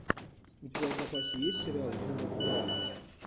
у тебя в запасе есть сериал журов два